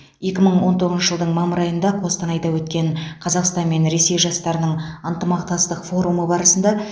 екі мың он тоғызыншы жылдың мамыр айында қостанайда өткен қазақстан мен ресей жастарының ынтымақтастық форумы барысында